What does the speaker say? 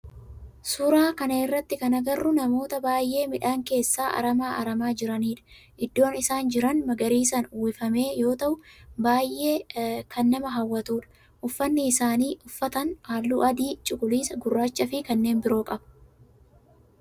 Suuraa kana irratti kan agarru namoota baayyee midhaan keessaa aramaa aramaa jiranidha. Iddoon isaan jiran magariisan uwwifame yoo ta'u baayyee kan nama hawwatudha. Ufanni isaan uffatan halluu akka adii, cuqulisa, gurraacha fi kanneen biroo qaba.